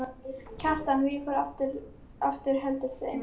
Kjartan víkur aftur og heldur seint.